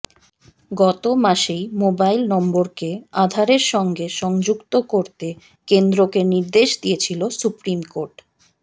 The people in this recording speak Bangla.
গত মাসেই মোবাইল নম্বরকে আধারের সঙ্গে সংযুক্ত করতে কেন্দ্রকে নির্দেশ দিয়েছিল সুপ্রিম কোর্ট